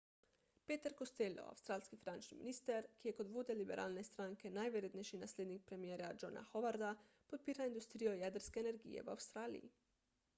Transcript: peter costello avstralski finančni minister ki je kot vodja liberalne stranke najverjetnejši naslednik premierja johna howarda podpira industrijo jedrske energije v avstraliji